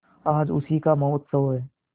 आज उसी का महोत्सव है